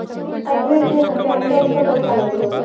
at least ଚଳିବାକୁ ତ ପଇସା ଲାଗିବନି